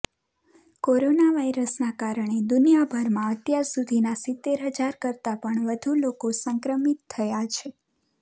કોરોનાવાયરસના કારણે દુનિયાભરમાં અત્યાર સુધીમાં સિત્તેર હજાર કરતાં પણ વધુ લોકો સંક્રમિત થયાં છે